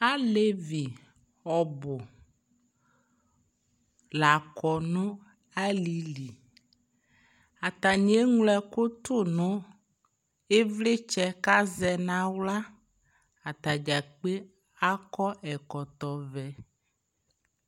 Alevi ɔbʋ lakɔ nʋ alɩli Atanɩ eŋlo ɛkʋ tʋ nʋ ɩvlɩtsɛ kʋ azɛ nʋ aɣla Ata dza kpe akɔ ɛkɔtɔvɛ